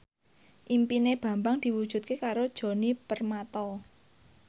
impine Bambang diwujudke karo Djoni Permato